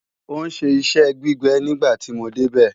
Ó ń ṣe iṣẹ́ gbígbẹ nígbà tí mo débẹ̀